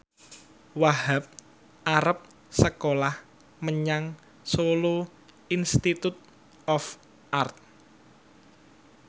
Wahhab arep sekolah menyang Solo Institute of Art